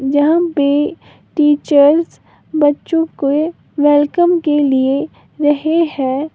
यहां पे टीचर बच्चों के वेलकम केलिए रहे है।